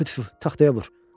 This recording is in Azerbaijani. Tüf tüf, taxtaya vur.